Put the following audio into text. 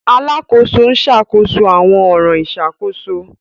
Alàkóso n ṣàkóso awọn ọran ìṣàkóso.